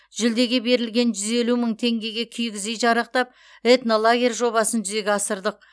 жүлдеге берілген жүз елу мың теңгеге киіз үй жарақтап этнолагерь жобасын жүзеге асырдық